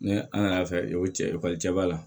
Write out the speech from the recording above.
Ni an y'a fɛ ekɔli cɛ b'a la